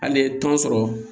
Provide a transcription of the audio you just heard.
Hali ye tɔn sɔrɔ